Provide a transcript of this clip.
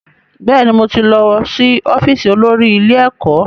Bẹ́ẹ̀ni, mo ti lọ́ sí ọ́fíìsì olórí ilé ẹ̀kọ́